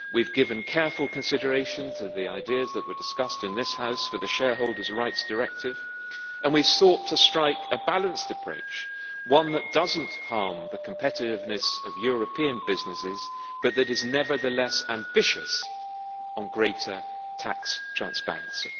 We have given careful consideration to the ideas that were discussed in this House for the Shareholders' Rights Directive, and we sought to strike a balanced approach one that does not harm the competitiveness of European businesses but that is nevertheless ambitious on greater tax transparency.